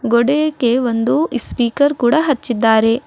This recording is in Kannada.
ಗೋಡೆಗೆ ಒಂದು ಸ್ಪೀಕರ್ ಕೂಡ ಹಚ್ಚಿದ್ದಾರೆ.